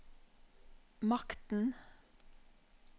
makten